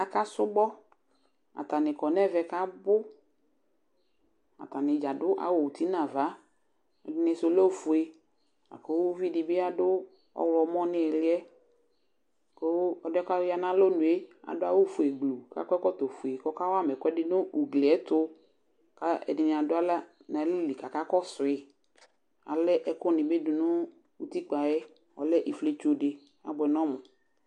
Aka sʋbɔ ,atanɩ kɔ nɛvɛ kabʋ; atanɩ dza adʋ awʋ uti nava ,ɛdɩnɩ sʋ lɛ ofue, akʋ uvi dɩ bɩ adʋ ɔɣlɔmɔ n' ɩɣɩlɩɛKʋ ɔlɩɛ kɔ ya nalonue adʋ awʋ fue gblu kʋ akɔ ɛkɔtɔ fue, kɔka wama ɛkʋɛdɩ nʋ ugliɛtʋKa ɛdɩnɩ adʋ aɣla nalɛli kaka kɔsʋɩAla ɛkʋ nɩ bɩ dʋ nʋ utikpǝ yɛ , ɔlɛ ifletso dɩ ta bʋɛ nʋ ɔmʋ